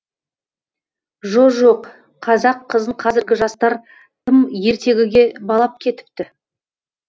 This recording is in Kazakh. жо жоқ қазақ қызын қазіргі жастар тым ертегіге балап кетіпті